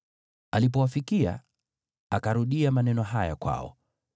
Alipowafikia, akarudia maneno haya kwao.